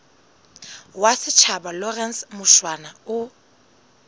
wa setjhaba lawrence mushwana o